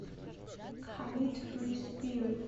халид фри спирит